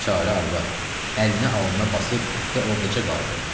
Biçarə arvad əlini alnına basıb oradaca qaldı.